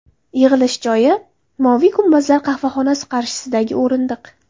Yig‘ilish joyi: ‘Moviy gumbazlar’ qahvaxonasi qarshisidagi o‘rindiq.